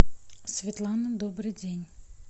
светлана добрый день